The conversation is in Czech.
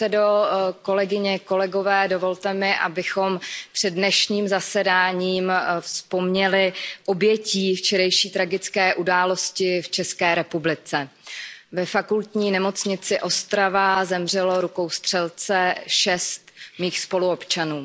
Vážený pane předsedo, kolegyně, kolegové, dovolte mi, abychom před dnešním zasedáním vzpomněli oběti včerejší tragické události v České republice. Ve Fakultní nemocnici Ostrava zemřelo rukou střelce šest mých spoluobčanů.